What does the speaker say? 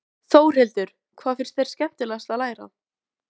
Þórhildur: Hvað finnst þér skemmtilegast að læra?